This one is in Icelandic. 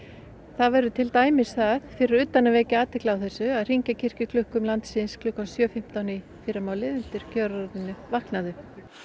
það verður til dæmis það fyrir utan að vekja athygli á þessu að hringja kirkjuklukkum landsins klukkan sjö fimmtán í fyrramálið undir kjörorðinu vaknaðu